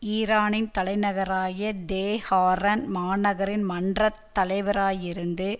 ஈரானின் தலைநகராகிய தெஹாரான் மாநகரின் மன்ற தலைவராயிருந்து